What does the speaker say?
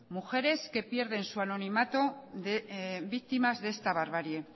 mujeres que pierden su anonimato víctimas de esta barbarie